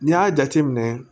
N'i y'a jateminɛ